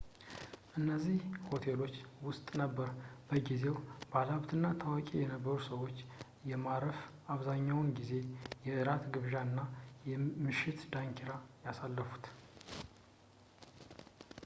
እነዚህ ሆቴሎች ውስጥ ነበር በጊዜው ባለሀብትና ታዋቂ የነበሩት ሰዎች በማረፍ አብዛኛውን ጊዜ የእራት ግብዣና የምሽት ዳንኪራ ያሳለፉት